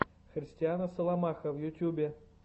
христина соломаха в ютьюбе